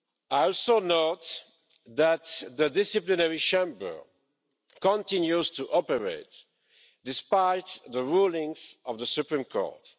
I also note that the Disciplinary Chamber continues to operate, despite the rulings of the Supreme Court.